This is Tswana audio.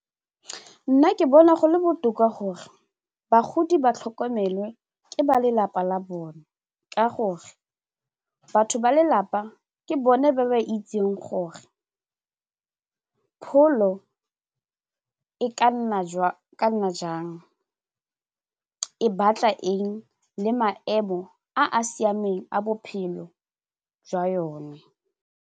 Nna ke bona go le botoka gore bagodi ba tlhokomelwe ke ba lelapa la bone ka gore batho ba lelapa ke bone ba ba itseng gore pholo e ka nna jang e batla eng le maemo a a siameng a bophelo jwa yone.